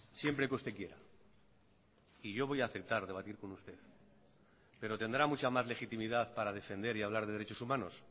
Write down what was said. siempre que usted quiera y yo voy a aceptar debatir con usted pero tendrá mucha más legitimidad para defender y hablar de derechos humanos